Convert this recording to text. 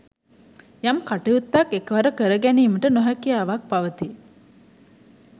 යම් කටයුත්තක් එකවර කර ගැනීමට නොහැකියාවක් පවතී.